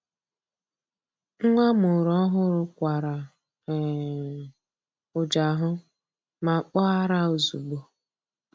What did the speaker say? Nwa amụrụ ọhụrụ kwara um ụjahụ ma kpọọ ara ozugbo.